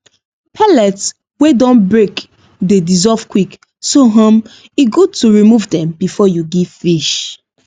pellets wey don break dey dissolve quick so um e good to remove dem before you give fish